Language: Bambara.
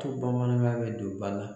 Ko bamanankan bɛ don ba la.